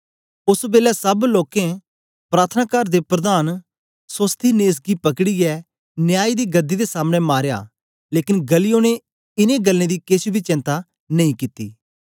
ओस बेलै सब लोकें प्रार्थनाकार दे प्रधान सोस्थिनेस गी पकड़ीयै न्याय दी गदी दे सामने मारया लेकन गल्लियो ने इन गल्लां दी केछ बी चेंता नेई कित्ती